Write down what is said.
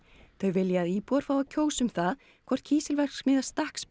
þau vilja að íbúar fái að kjósa um það hvort kísilverksmiðja